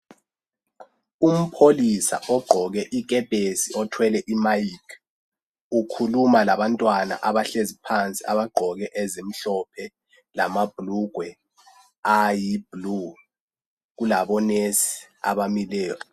Umpholisa ogqoke ikepesi othwele imayikhi, ukhuluma labantwana abahlezi phansi abagqoke ezimhlophe lamabhulugwe ayibhlu. Kulabonesi abamileyo.